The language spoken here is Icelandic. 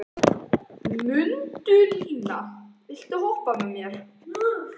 Mundína, viltu hoppa með mér?